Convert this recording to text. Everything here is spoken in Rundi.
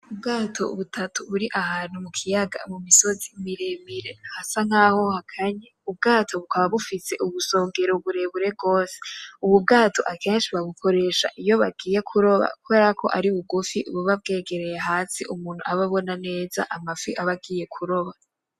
Ubwato butatu buri ahantu mukiyaga, mumisozi miremire hasa nkaho hakanye; Ubwato bukaba bufise ubusongero burebure gose. Ubu bwato akenshi babukoresha iyo bagiye kuroba kubera ko ari bugufi buba bwegereye hasi umuntu aba abona neza amafi ab'agiye kuroba.